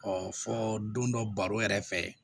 fɔ don dɔ baro yɛrɛ fɛ